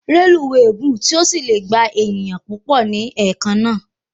Reluwe gùn tí o sílẹ gbà èèyàn púpọ ní ẹ̀kan na